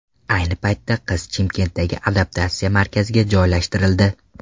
Ayni paytda qiz Chimkentdagi adaptatsiya markaziga joylashtirildi.